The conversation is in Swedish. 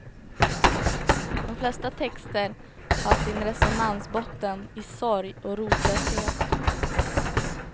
De flesta texter har sin resonansbotten i sorg och rotlöshet.